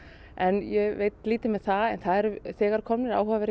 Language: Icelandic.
en ég veit lítið með það en það eru þegar komnir áhugaverðir